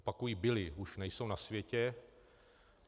Opakuji, byli, už nejsou na světě.